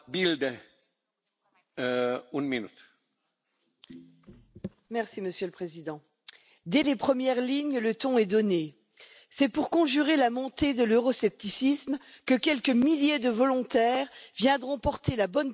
Monsieur le Président, dès les premières lignes, le ton est donné c'est pour conjurer la montée de l'euroscepticisme que quelques milliers de volontaires viendront porter la bonne parole et grossir les rangs des ONG qui écument déjà les récifs de la Méditerranée.